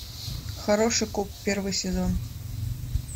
хороший коп первый сезон